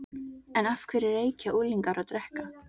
En af hverju reykja unglingar og drekka?